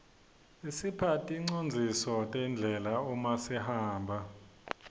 isipha ticondziso tendlela uma sihamba